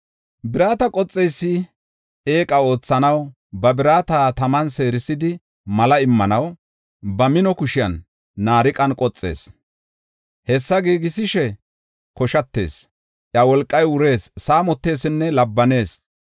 Birata qoxeysi eeqa oothanaw ba birata taman seerisidi mala immanaw ba mino kushiyan naariqan qoxees. Hessa giigisishe koshatees; iya wolqay wurees; saamotesinne labbanees.